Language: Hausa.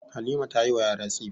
Halima ta yi wa yara tsifa.